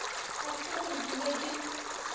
ga se gore ke be